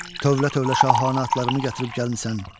Dövlə-dövlə şahanə atlarımı gətirib gəlmisən.